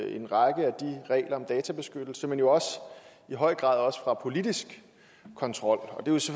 en række regler om databeskyttelse men jo i høj grad også fra politisk kontrol